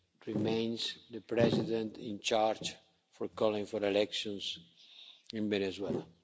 remains the President in charge for calling for elections in Venezuela.